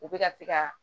U bɛ ka se ka